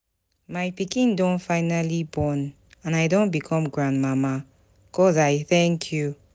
My pikin do finally born and I don become grandmama. God I thank you.